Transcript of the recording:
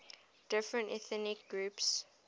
different ethnic groups